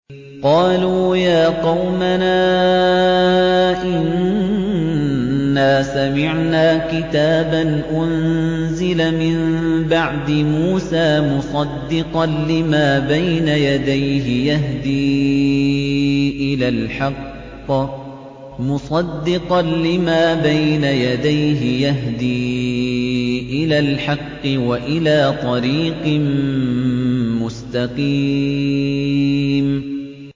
قَالُوا يَا قَوْمَنَا إِنَّا سَمِعْنَا كِتَابًا أُنزِلَ مِن بَعْدِ مُوسَىٰ مُصَدِّقًا لِّمَا بَيْنَ يَدَيْهِ يَهْدِي إِلَى الْحَقِّ وَإِلَىٰ طَرِيقٍ مُّسْتَقِيمٍ